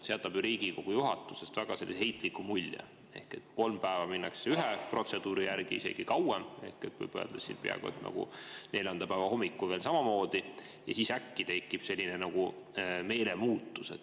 See jätab ju Riigikogu juhatusest väga heitliku mulje, kui kolm päeva minnakse ühe protseduuri järgi – isegi kauem, võib öelda, neljanda päeva hommikul veel samamoodi – ja siis äkki tekib selline meelemuutus.